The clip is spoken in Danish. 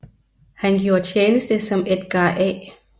Han gjorde tjeneste som Edgar A